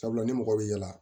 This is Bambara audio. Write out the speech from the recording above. Sabula ni mɔgɔ bɛ yaala